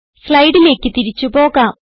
സ്ലൈഡിലേക്ക് തിരിച്ചു പോകാം